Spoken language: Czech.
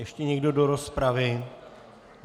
Ještě někdo do rozpravy?